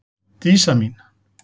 Dísa mín.